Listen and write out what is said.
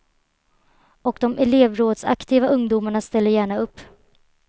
Och de elevrådsaktiva ungdomarna ställer gärna upp.